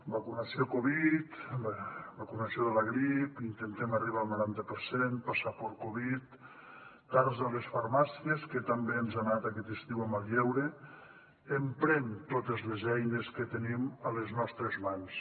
vacunació covid vacunació de la grip intentem arribar al noranta per cent passaport covid tars a les farmàcies que tan bé ens ha anat aquest estiu en el lleure emprem totes les eines que tenim a les nostres mans